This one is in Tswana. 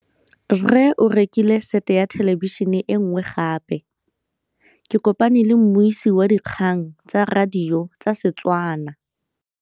Rre o rekile sete ya thêlêbišênê e nngwe gape. Ke kopane mmuisi w dikgang tsa radio tsa Setswana.